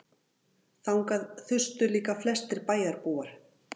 Þangað þustu líka flestir bæjarbúar.